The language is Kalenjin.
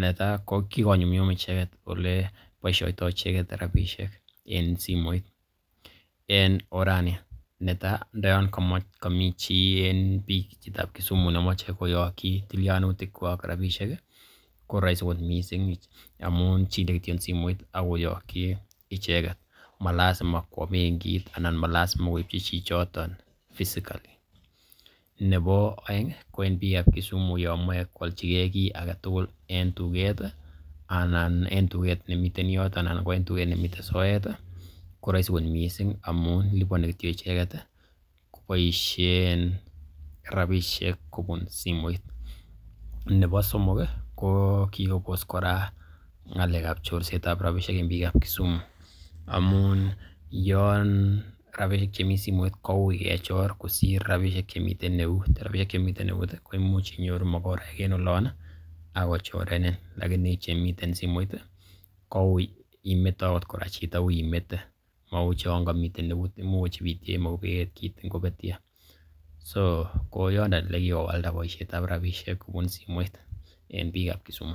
netai ko kigonyumnyum icheket ole boisiotoi icheget rabishek en simoit, en orani; netai: ndo yon komi chi en Kisumu nemoche koyoki tilyanutik kwak koroisi kot mising amun chile kityok simoit ak koyoki icheget. Ma lazima kwo bengit anan ma lazima koipchi chichotet physically nebo oeng ko en bikab Kisumu yon moche koalchige kiit age tugul en tuget nemiten yoto anan en tuget nemiten soet koroisi kot mising amun liponi kityo icheget koboisiein rabishek kobun simoit. Nebo somok i , ko kigobos kora ngalekab chorset ab rabishek en biikab Kisumu amun yon rabinik che mi simoit kouiy kechor kosir rabishek chemiten eut. Rabishek chemite eut koimuch inyoru magoraek en olon ak kochorenin. lakini chemiten simoit ii kouiy imete agot kora chito, uiy imete, mou chon komiten eut, imuch kochibityo en eut kitin kobetyo. So yondon ele kigowalda bosiietab rabishek kobun simoit en bikab Kisumu.